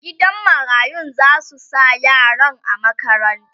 gidan marayun zasu sa yaran a makaranta